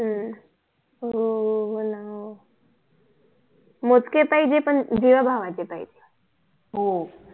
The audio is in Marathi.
हम्म हो म्हणावं मोजके पाहिजे पण जीवा भावाचे पाहिजे